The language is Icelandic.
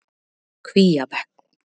Kvíabekk